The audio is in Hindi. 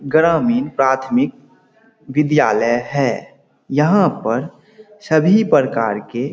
ग्रामीन प्राथमिक बिदियालय है यहाँ पर सभी प्रकार के --